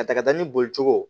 A taka ni boli cogo